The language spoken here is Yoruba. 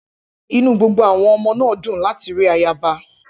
Inú gbogbo àwọn ọmọ náà dùn láti rí ayaba.